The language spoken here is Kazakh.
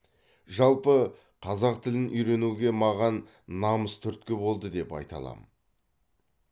жалпы қазақ тілін үйренуге маған намыс түрткі болды деп айта аламын